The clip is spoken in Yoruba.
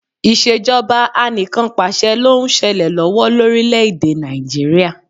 Ìṣèjọba Anìkanpàṣẹ ló ń ṣẹlẹ̀ lọ́wọ́ lórílẹ̀ èdè Nàìjíríà